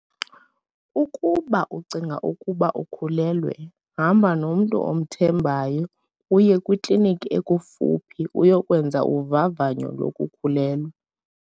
Ukuba ucinga ukuba ukhulelwe, hamba nomntu omthembayo uye kwikliniki ekufuphi uyokwenza uvavanyo lokukhulelwa.